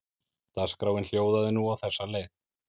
Dagskráin hljóðaði nú á þessa leið